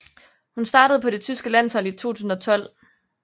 Hun startede på det tyske landshold i 2012